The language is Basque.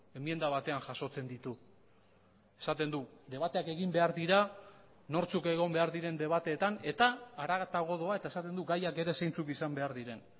enmienda batean jasotzen ditu esaten du debateak egin behar dira nortzuk egon behar diren debateetan eta haratago doa eta esaten du gaiak ere zeintzuk izan behar diren